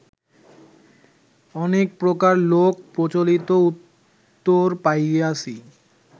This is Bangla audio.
অনেক প্রকার লোক-প্রচলিত উত্তর পাইয়াছি